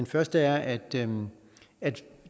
første er at den